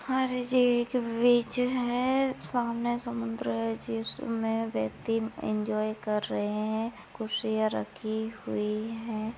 और ये एक बीच है सामने समुद्र है जिसमे व्यक्ति इन्जॉय कर रहे है खुर्सियाँ रखी हुई है।